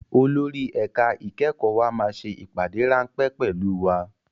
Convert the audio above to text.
Olórí ẹ̀ka ìkẹ́kọ̀ọ́ wa máa ṣe ìpàdé ráńpẹ́ pẹ̀lú wa